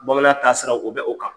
Bamanan taasira, u bɛ o kan.